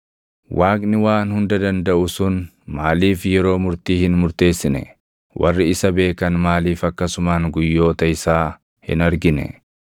“Waaqni Waan Hunda Dandaʼu sun maaliif yeroo murtii hin murteessine? Warri isa beekan maaliif akkasumaan guyyoota isaa hin argine?